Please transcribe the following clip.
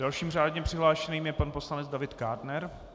Dalším řádně přihlášeným je pan poslanec David Kádner.